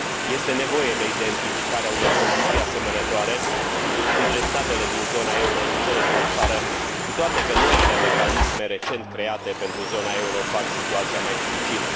Este nevoie de identificarea unor condiții asemănătoare între statele din zona euro și cele din afară, cu toate că noile mecanisme recent create pentru zona euro fac situația mai dificilă.